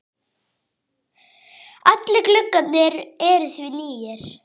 Allir gluggar eru því nýir.